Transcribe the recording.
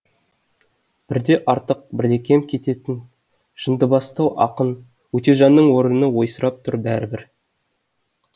бірде артық бірде кем кететін жындыбастау ақын өтежанның орыны ойсырап тұр бәрібір